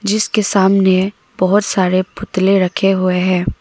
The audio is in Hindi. जिसके सामने बहुत सारे पुतले रखे हुए हैं।